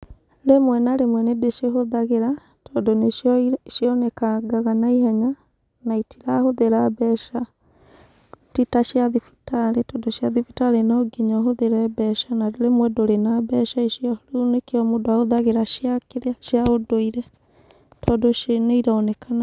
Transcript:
Rĩmwe na rĩmwe nĩndĩcihũthagĩra, tondũ nĩcio cionekangaga naihenya na itirahũthĩra mbeca, ti ta cia thibitarĩ tondũ cia thibitarĩ no nginya ũhũthĩre mbeca na rĩmwe ndũrĩ na mbeca icio rĩu nĩkio mũndũ ahũthagĩra cia kĩrĩa, cia ũndũire, tondũ icio nĩironekana.